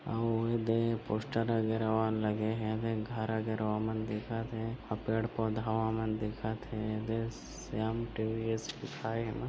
आऊ येदे पोस्टर वगैरा मन लगे हे येदेे घर वगैरा मन दिखत हे आऊ पेड़ पौधा मन दिखत हे येदे श्याम ट्रेडर्स लिखाय हे एमा --